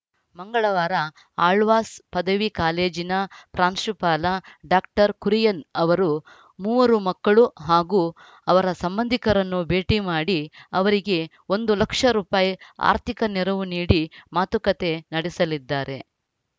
ಮಂಗಳವಾರ ಆಳ್ವಾಸ್‌ ಪದವಿ ಕಾಲೇಜಿನ ಪ್ರಾಂಶುಪಾಲ ಡಾಕ್ಟರ್ ಕುರಿಯನ್‌ ಅವರು ಮೂವರು ಮಕ್ಕಳು ಹಾಗೂ ಅವರ ಸಂಬಂಧಿಕರನ್ನು ಭೇಟಿ ಮಾಡಿ ಅವರಿಗೆ ಒಂದು ಲಕ್ಷ ರೂಪಾಯಿ ಆರ್ಥಿಕ ನೆರವು ನೀಡಿ ಮಾತುಕತೆ ನಡೆಸಲಿದ್ದಾರೆ